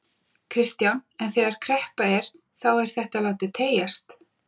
Kristján: En þegar kreppa er þá er þetta látið teygjast?